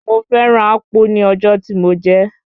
Mo fẹ́ràn Akpu ní ọjọ́ tí mo jẹ ẹ́.